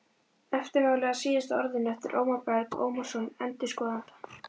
Eftirmáli að Síðasta orðinu eftir Ómar Berg Ómarsson endurskoðanda